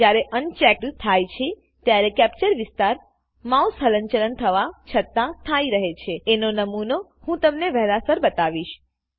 જયારે અન્ચેક્ડ થાય છે ત્યારે કેપ્ચર વિસ્તાર માઉસ હલનચલન થવા છતા સ્થાઈ રહે છેએનો નમુનો હું તમને વેહલા સર બતાવીશ